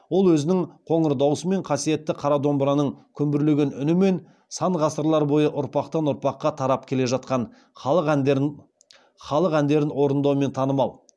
ол өзінің қоңыр даусымен қасиетті қара домбыраның күмбірлеген үнімен сан ғасырлар бойы ұрпақтан ұрпаққа тарап келе жатқан халық әндерін орындаумен танымал